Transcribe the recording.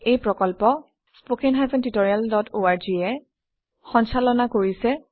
এই প্ৰকল্প httpspoken tutorialorg এ কোঅৰ্ডিনেট কৰিছে